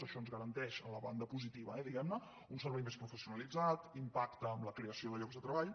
això ens garanteix en la banda positiva eh diguem ne un servei més professionalitzat impacte en la creació de llocs de treball